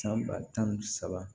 San ba tan ni saba